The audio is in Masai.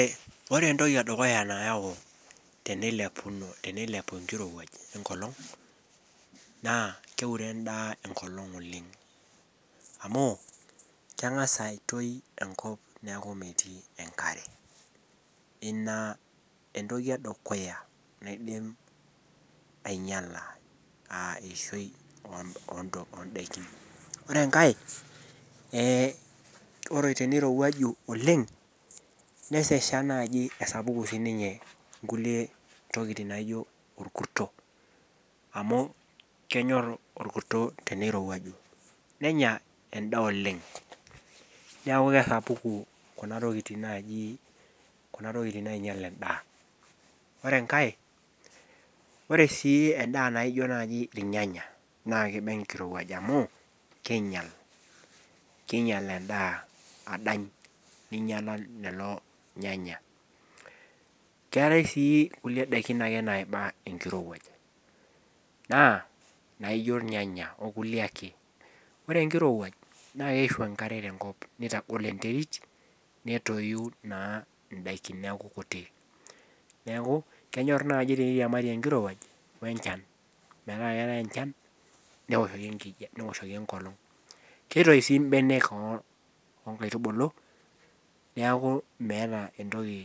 ore entoki edukuya nayau tenilepu enkirowuaj enkolong' naa keure edaa enkolong' oleng' naa keng'as aitoi enkop neeku metii enkare, ina entoki edukuya naidim anyiala aa eishoi oo idaikin, ore enkae ore teneirowuaju oleng' nesesha naaji pee esapuku inkulie tokitin naaji olkurto amu kenyor olkuto teiruaju nenya edaa oleng' neeku kesapuku kunatokitin naing'ial edaa, ore enkae ore sii edaa naijio naaji ilnyanya naa kiba enkirowuaj amu king'ial edaa adany ning'iala lelo nyanya, keetae sii kulie daikin ake naiba enkirowuaj naijo inyanya okulie ake, ore enkirowuaj naa keishu enkare tenkop nitagol enterit netoyu naa idakin neeku kutik neeku kenyor naaji teneiria mari enkirowuaj wechan metaa keetae enchan newoshoki enkiti olong' kitoi sii ibenek oo inkaitubulu.